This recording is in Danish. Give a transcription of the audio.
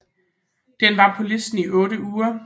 Den var på listen i otte uger